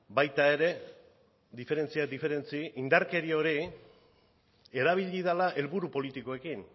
baita ere diferentziak diferentzi indarkeria hori erabili dela helburu politikoekin